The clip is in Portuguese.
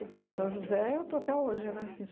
Em São José, eu estou até hoje, né? Fiz